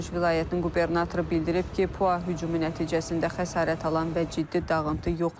Voronej vilayətinin qubernatoru bildirib ki, PUA hücumu nəticəsində xəsarət alan və ciddi dağıntı yoxdur.